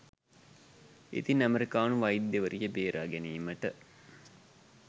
ඉතින් අමෙරිකානු වෛද්‍යවරිය බේරාගැනීමට